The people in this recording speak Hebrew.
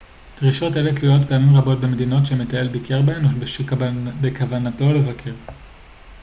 דרישות אלה תלויות פעמים רבות במדינות שהמטייל ביקר בהן או שבכוונתו לבקר